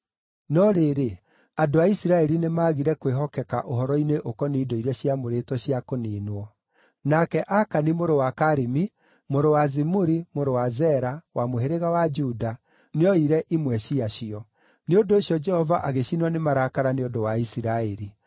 No rĩrĩ, andũ a Isiraeli nĩmagire kwĩhokeka ũhoro-inĩ ũkoniĩ indo iria ciamũrĩtwo cia kũniinwo; nake Akani mũrũ wa Karimi, mũrũ wa Zimuri, mũrũ wa Zera, wa mũhĩrĩga wa Juda, nĩoire imwe ciacio. Nĩ ũndũ ũcio Jehova agĩcinwo nĩ marakara nĩ ũndũ wa Isiraeli.